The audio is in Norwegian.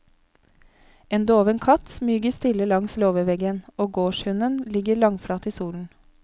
En doven katt smyger stille langs låveveggen, og gårdshunden ligger langflat i solen.